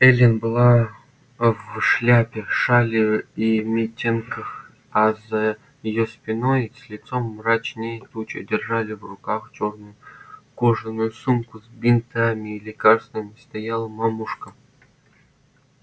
эллин была в шляпе шали и митенках а за её спиной с лицом мрачнее тучи держа в руках чёрную кожаную сумку с бинтами и лекарствами стояла мамушка